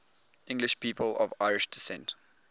english people of irish descent